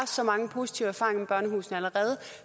så mange positive erfaringer med børnehusene allerede